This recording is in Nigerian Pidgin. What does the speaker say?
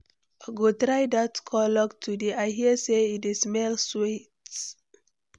I go try dat cologne today; I hear say e di smell sweet.